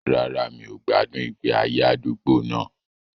Rárá, mi ò gbádùn ìgbé ayé àdúgbò náà